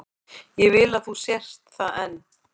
Ég vil að þú sért það enn.